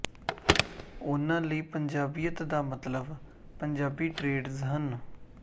ਉਨ੍ਹਾਂ ਲਈ ਪੰਜਾਬੀਅਤ ਦਾ ਮਤਲਬ ਪੰਜਾਬੀ ਟਰੇਡਸ ਹਨ